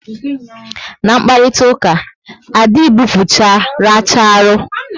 Na mkparitauka, a dị gbupucha racharu